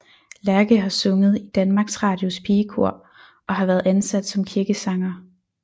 Lerche har sunget i Danmarks Radios Pigekor og har været ansat som kirkesanger